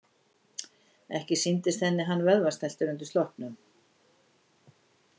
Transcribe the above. Ekki sýndist henni hann vöðvastæltur undir sloppnum.